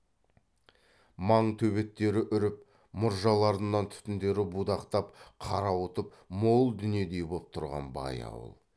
маң төбеттері үріп мұржаларынан түтіндері будақтап қарауытып мол дүниедей боп тұрған бай ауыл